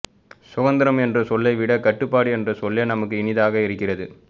சுதந்திரம் என்ற சொல்லை விடக் கட்டுப்பாடு என்ற சொல்லே நமக்கு இனியதாக இருக்கிறது